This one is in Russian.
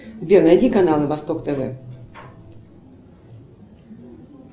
сбер найди канал восток тв